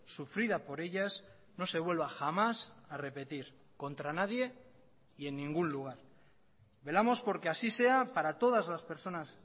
sufrida por ellas no se vuelva jamás a repetir contra nadie y en ningún lugar velamos porque así sea para todas las personas